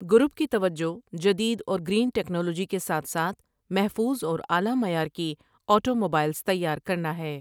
Group کی توجہ جدید اور گرین ٹٰیکنالوجی کے ساتھ ساتھ محٖوظ اور اعلیٰ معیار کی آٹو موبائلز تیار کرنا ہے ۔